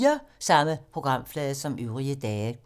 Samme programflade som øvrige dage